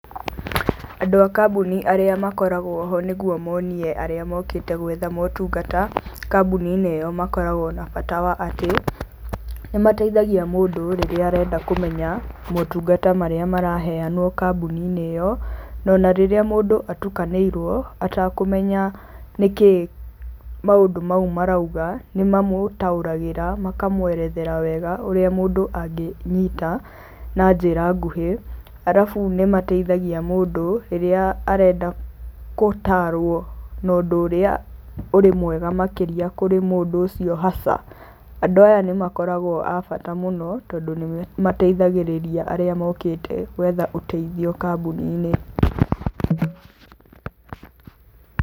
Andũ a kambuni arĩa makoragũo ho nĩgetha monie arĩa mokĩte gwetha motungata kambuni-inĩ ĩyo makoragũo na bata wa atĩ. nĩ mateithagia mũndũ rĩrĩa arenda kũmenya motungata maraheanwo kambuni-inĩ ĩyo. Na ona rĩrĩa mũndũ atukanĩirũo atakũmenya nĩkĩĩ maũndũ mau maroiga, nĩ mamũtaũkagĩra makamũeretha wega ũrĩa mũndũ angĩnyita na njĩra nguhĩ. Arabu nĩ mateithagia mũndũ rĩrĩa arenda gũtaarũo no ũndũ ũrĩa ũrĩ mwega makĩria kũrĩ mũndũ ũcio haca. Andũ aya nĩ makoragũo a bata mũno tondũ nĩ mateithagĩrĩria arĩa mokĩte gwetha ũteithio kambuni-inĩ.